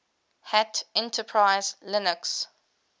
hat enterprise linux